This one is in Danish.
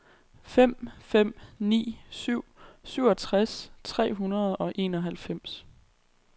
fem fem ni syv syvogtres tre hundrede og enoghalvfems